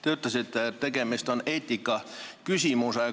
Te ütlesite, et tegemist on eetikaküsimusega.